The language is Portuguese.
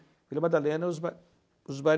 Vila Madalena, os bares os bares